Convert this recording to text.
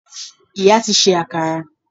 Ìyá ti se akara